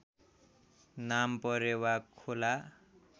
नाम परेवा खोला